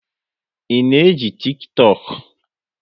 Ị na eji Tiktọk?